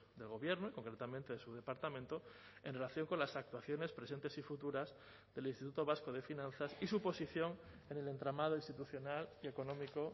del gobierno y concretamente de su departamento en relación con las actuaciones presentes y futuras del instituto vasco de finanzas y su posición en el entramado institucional y económico